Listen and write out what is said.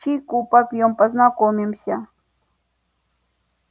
чайку попьём познакомимся